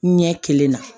Ɲɛ kelen na